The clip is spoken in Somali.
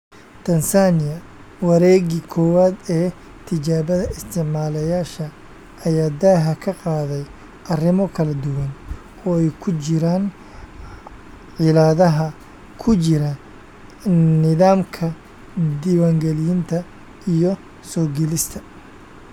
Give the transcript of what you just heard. Tansaaniya, wareegii koowaad ee tijaabada isticmaalayaasha ayaa daaha ka qaaday arrimo kala duwan, oo ay ku jiraan cilladaha ku jira nidaamka diiwaangelinta iyo soo gelista.